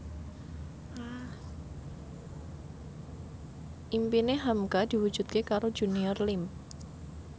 impine hamka diwujudke karo Junior Liem